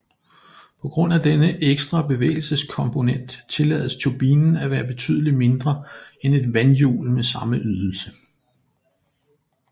På grund af denne ekstra bevægelseskomponent tillades turbinen at være betydelig mindre end et vandhjul med samme ydelse